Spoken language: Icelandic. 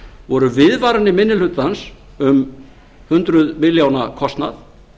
voru viðvaranir minni hlutans um hundruð milljóna kostnað